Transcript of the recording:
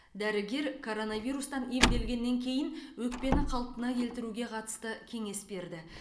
дәрігер коронавирустан емделгеннен кейін өкпені қалпына келтіруге қатысты кеңес берді